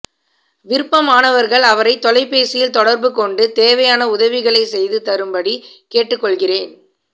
விருப்பமானவர்கள் அவரைத் தொலைபேசியில் தொடர்பு கொண்டு தேவையான உதவிகளை செய்து தரும்படி கேட்டுக் கொள்கிறேன்